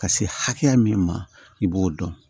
Ka se hakɛya min ma i b'o dɔn